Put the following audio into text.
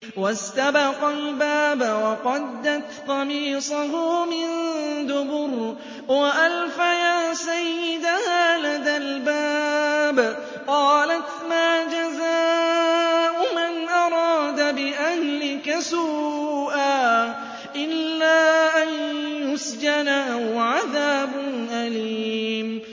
وَاسْتَبَقَا الْبَابَ وَقَدَّتْ قَمِيصَهُ مِن دُبُرٍ وَأَلْفَيَا سَيِّدَهَا لَدَى الْبَابِ ۚ قَالَتْ مَا جَزَاءُ مَنْ أَرَادَ بِأَهْلِكَ سُوءًا إِلَّا أَن يُسْجَنَ أَوْ عَذَابٌ أَلِيمٌ